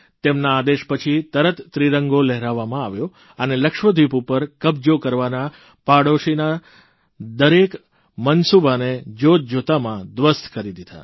તેમના આદેશ પછી તરત ત્રિરંગો લહેરાવવામાં આવ્યો અને લક્ષદ્વિપ ઉપર કબજો કરવાના પાડોશીના દરેક મનસૂબાને જોતજોતામાં ધ્વસ્ત કરી દીધા